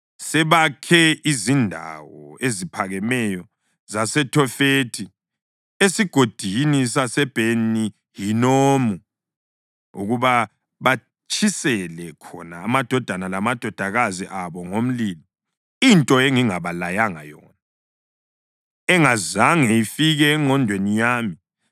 Sebakhe izindawo eziphakemeyo zaseThofethi esigodini saseBheni-Hinomu ukuba batshisele khona amadodana lamadodakazi abo ngomlilo, into engingabalayanga yona, engazange ifike engqondweni yami.